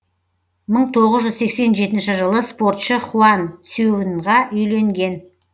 мың тоғыз жүз сексен жетінші жылы спортшы хуан цюяньға үйленген